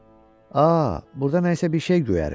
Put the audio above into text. Aa, burda nəysə bir şey göyərir,